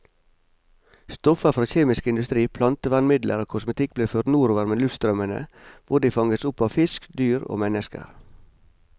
Stoffer fra kjemisk industri, plantevernmidler og kosmetikk blir ført nordover med luftstrømmene, hvor de fanges opp av fisk, dyr og mennesker.